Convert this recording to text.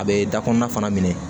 A bɛ da kɔnɔna minɛ